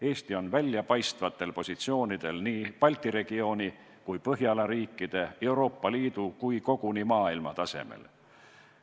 Eesti on väljapaistvatel positsioonidel nii Balti regiooni kui Põhjala riikide, samuti Euroopa Liidu ja koguni maailma tasemel.